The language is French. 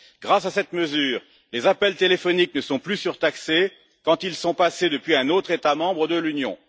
Grâce à cette mesure, les appels téléphoniques ne sont plus surtaxés quand ils sont passés depuis un autre État membre de l'Union.